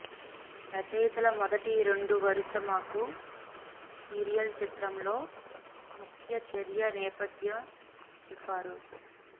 రచయితల మొదటి రెండు వరుస మాకు సీరియల్ చిత్రంలో ముఖ్య చర్య నేపథ్య చెప్పారు